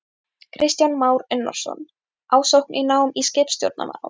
Kristján Már Unnarsson: Ásókn í nám í skipstjórnarnám?